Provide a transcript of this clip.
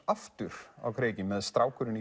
aftur á kreiki með strákurinn í